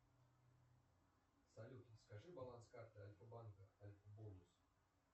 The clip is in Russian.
салют скажи баланс карты альфабанка альфабонус